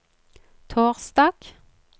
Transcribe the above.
torsdag